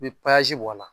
I bi bɔ a la